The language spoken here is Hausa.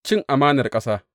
Cin amanar ƙasa!